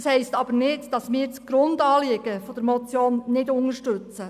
Das heisst aber nicht, dass wir das Grundanliegen der Motion nicht unterstützen.